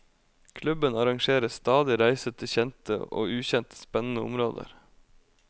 Klubben arrangerer stadig reiser til kjente og ukjente spennende områder.